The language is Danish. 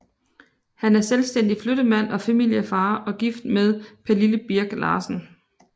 Han er selvstændig flyttemand og familiefar og gift med Pernille Birk Larsen